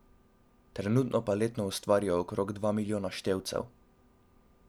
Trenutno pa letno ustvarijo okrog dva milijona števcev.